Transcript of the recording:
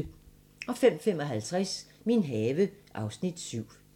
05:55: Min have (Afs. 7)